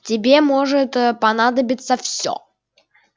тебе может понадобиться всё